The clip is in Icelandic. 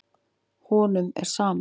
Honum er sama.